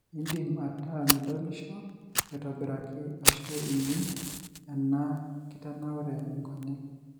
indim ataa midolisho aitobiraki ashu ining ena kitanaure enkonyek.